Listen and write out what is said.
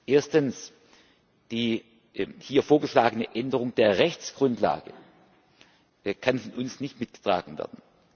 Erstens Die hier vorgeschlagene Änderung der Rechtsgrundlage kann von uns nicht mitgetragen werden.